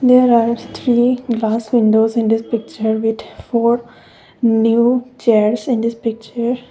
there are three glass windows in this picture with four new chairs in this picture.